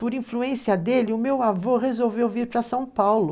Por influência dele, o meu avô resolveu vir para São Paulo.